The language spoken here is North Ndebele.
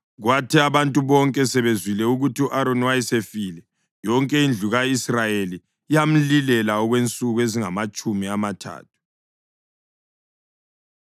Kwathi abantu bonke sebezwile ukuthi u-Aroni wayesefile, yonke indlu ka-Israyeli yamlilela okwensuku ezingamatshumi amathathu.